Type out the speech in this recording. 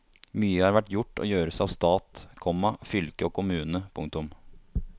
Mye har vært gjort og gjøres av stat, komma fylke og kommune. punktum